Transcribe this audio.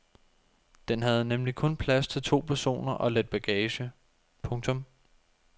Den havde nemlig kun plads til to personer og lidt bagage. punktum